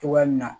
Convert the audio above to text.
Togoya min na